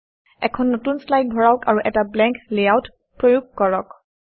এখন নতুন শ্লাইড ভৰাওক আৰু এটা ব্লেংক লেআউট প্ৰয়োগ কৰক